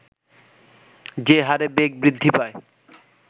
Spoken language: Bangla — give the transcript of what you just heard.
যে হারে বেগ বৃদ্ধি পায়